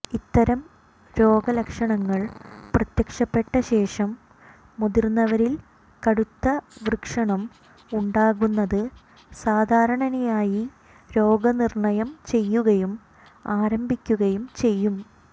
ഇത്തരം രോഗലക്ഷണങ്ങൾ പ്രത്യക്ഷപ്പെട്ട ശേഷം മുതിർന്നവരിൽ കടുത്ത വൃഷണം ഉണ്ടാകുന്നത് സാധാരണയായി രോഗനിർണയം ചെയ്യുകയും ആരംഭിക്കുകയും ചെയ്യും